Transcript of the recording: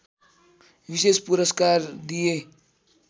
विशेष पुरस्कार दिए